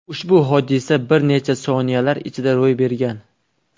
Ushbu hodisa bir necha soniyalar ichida ro‘y bergan.